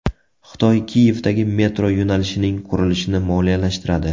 Xitoy Kiyevdagi metro yo‘nalishining qurilishini moliyalashtiradi.